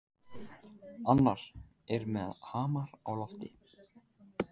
Annar er með hamar á lofti.